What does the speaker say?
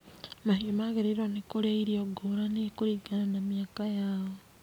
Mahiũ magĩrĩirwo nĩ kũrĩa irio ngũrani kũringana na mĩaka yao.